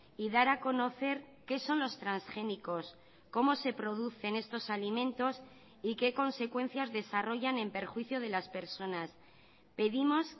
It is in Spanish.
y dar a conocer qué son los transgénicos cómo se producen estos alimentos y qué consecuencias desarrollan en perjuicio de las personas pedimos